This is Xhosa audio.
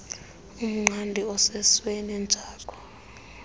umqadi osesweni jakho